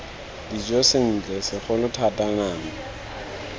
dijo sentle segolo thata nama